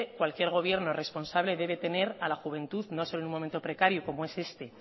cualquier gobierno responsable debe tener a la juventud no solo en un momento precario como es este